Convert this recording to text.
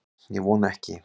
Ég vona ekki